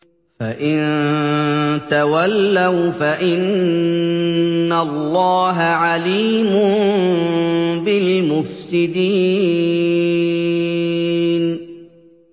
فَإِن تَوَلَّوْا فَإِنَّ اللَّهَ عَلِيمٌ بِالْمُفْسِدِينَ